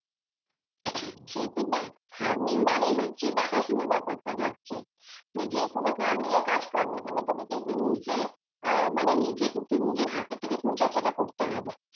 সে তো দেখ farming মানেই হচ্ছে দেখা সোনার ব্যাপার টা থাকছে তুই যে কোনো farming এর কাজ করনা কেন তোকে কিন্তু নিজে আহ মানে নিজে কিন্তু নিজে হাতে তোকে পরিচর্চা টা করতে হবে